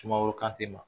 Sumaworo kante ma